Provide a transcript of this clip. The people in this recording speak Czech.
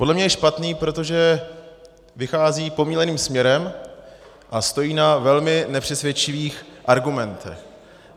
Podle mě je špatný, protože vychází pomýleným směrem a stojí na velmi nepřesvědčivých argumentech.